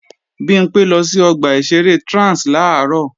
Bimpé lọ sí ọgbà ìṣeré Trans làárọ̀